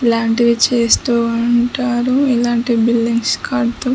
ఇలాంటివి చేస్తూ ఉంటారు ఇలాంటి బిల్డింగ్స్ కడ్తూ --